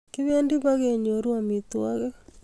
Kibendi pekenyoru amitwogik